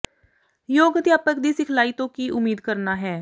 ਯੋਗ ਅਧਿਆਪਕ ਦੀ ਸਿਖਲਾਈ ਤੋਂ ਕੀ ਉਮੀਦ ਕਰਨਾ ਹੈ